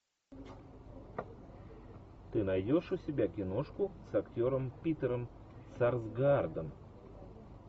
ты найдешь у себя киношку с актером питером сарсгаардом